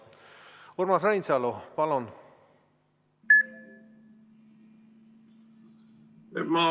Urmas Reinsalu, palun!